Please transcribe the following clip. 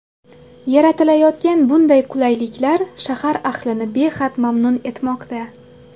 Yaratilayotgan bunday qulayliklar shahar ahlini behad mamnun etmoqda.